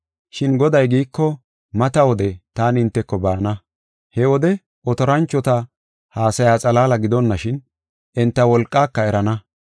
Shin Goday giiko, mata wode taani hinteko baana. He wode otoranchota haasaya xalaala gidonashin, enta wolqaaka erana.